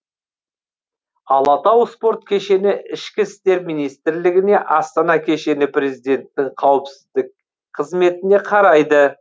алатау спорт кешені ішкі істер министрлігіне астана кешені президенттің қауіпсіздік қызметіне қарайды